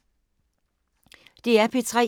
DR P3